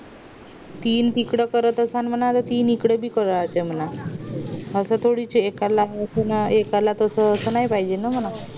तीन तिकडे करत असं म्हणावं त तीन इकडे पण करत असत मनव असं थोडी च ये एकाला असं आणि एकाला तस असं नाय पाहिजे ना म्हणावं